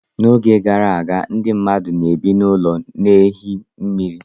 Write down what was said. N'oge gara aga, ndị mmadụ na-ebi n'ụlọ na ehi mmiri.